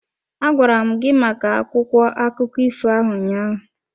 Agwara m gị maka akwụkwọ akụkọ ifo ahụ ụnyaahụ.